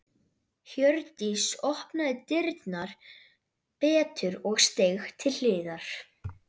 Hjördís opnaði dyrnar betur og steig til hliðar.